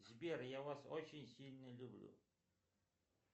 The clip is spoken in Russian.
сбер я вас очень сильно люблю